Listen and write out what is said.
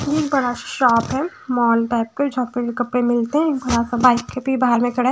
एक बड़ा सा शॉप है मॉल टाइप का जहाँ पे भी कपड़े मिलते हैं बाइक पेर मेरा भाई खड़ा है।